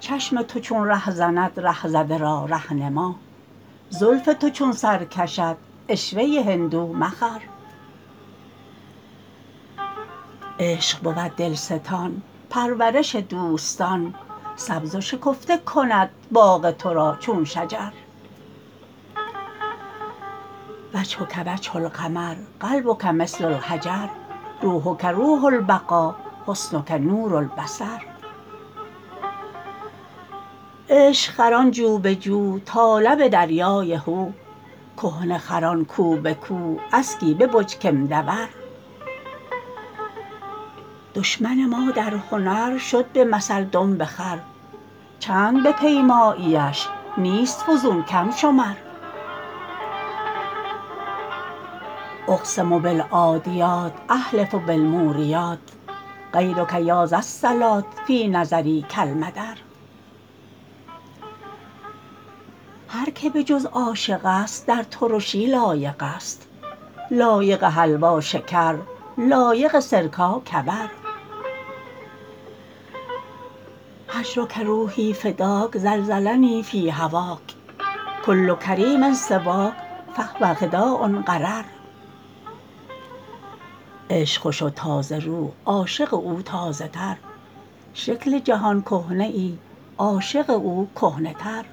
چشم تو چون ره زند ره زده را ره نما زلف تو چون سر کشد عشوه هندو مخر عشق بود دلستان پرورش دوستان سبز و شکفته کند باغ تو را چون شجر وجهک وجه القمر قلبک مثل الحجر روحک روح البقا حسنک نور البصر عشق خران جو به جو تا لب دریای هو کهنه خران کو به کو اسکی ببج کآمدور دشمن ما در هنر شد به مثل دنب خر چند بپیمایی اش نیست فزون کم شمر اقسم بالعادیات احلف بالموریات غیرک یا ذالصلات فی نظری کالمدر هر که به جز عاشق است در ترشی لایق است لایق حلوا شکر لایق سرکا کبر هجرک روحی فداک زلزلنی فی هواک کل کریم سواک فهو خداع غرر عشق خوش و تازه رو عاشق او تازه تر شکل جهان کهنه ای عاشق او کهنه تر